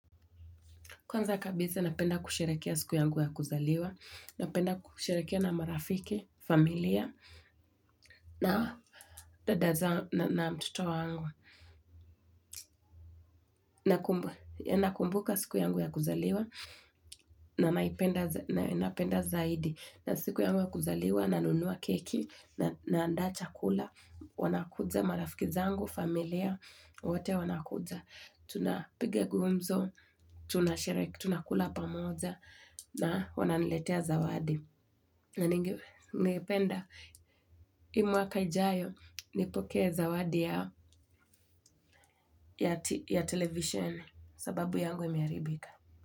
Kwanza kabisa, napenda kusherehekea siku yangu ya kuzaliwa. Napenda kusherehekea na marafiki, familia, na dada zangu na mtoto wangu. Nakumbuka siku yangu ya kuzaliwa, na naipenda zaidi. Na siku yangu ya kuzaliwa, nanunua keki, naanda chakula, wanakuja marafiki zangu, familia, wote wanakuja. Tunapiga gumzo, tunasherehekea, tunakula pamoja na wananiletea zawadi na ningependa huu mwaka ujao nipokee zawadi yao ya televisheni sababu yangu imeharibika.